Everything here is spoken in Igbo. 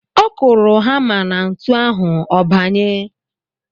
Ọ kụrụ hamá na ntu ahụ, ọ banye.